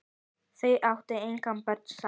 Þau áttu engin börn saman.